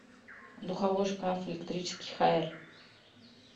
духовой шкаф электрический хаер